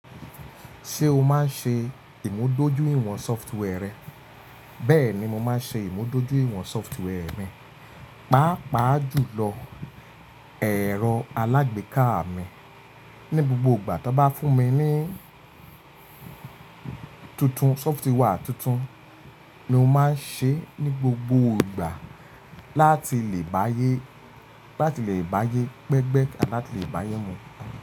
Ṣé o máa ń ṣe ìmúdójúìwọ̀n software rẹ? Bẹ́ẹ̀ ni mo máa ń ṣe ìmúdójúìwọ̀n software mi, pàápàá jùlọ ẹ̀rọ alágbèéká mi. Ni gbogbo ìgbà tí wọ́n bá fún mi ní tuntun, software tuntun ni mo máa ń ṣe ní gbogbo ìgbà láti lè bá yé, láti lè bá yé pẹ́gbẹ́ ẹ àti láti lè bá yé mu.